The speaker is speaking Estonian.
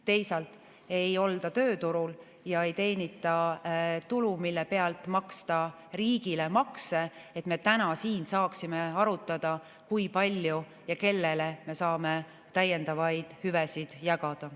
Teisalt ei olda tööturul ja ei teenita tulu, mille pealt maksta riigile makse, et me täna siin saaksime arutada, kui palju ja kellele me saame täiendavaid hüvesid jagada.